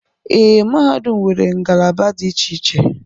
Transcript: Ee, mahadum nwere ngalaba dị iche iche.